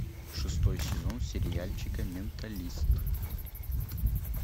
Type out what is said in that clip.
шестой сезон сериальчика менталист